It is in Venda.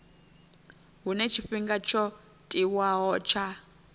huna tshifhinga tsho tiwaho tsha